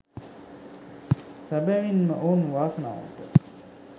සැබැවින් ම ඔවුන් වාසනාවන්තයි